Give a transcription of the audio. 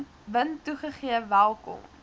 wind toegegee welkom